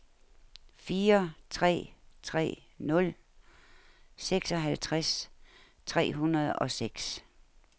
fire tre tre nul seksoghalvtreds tre hundrede og seks